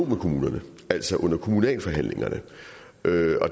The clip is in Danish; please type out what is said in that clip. med kommunerne altså under kommunalforhandlingerne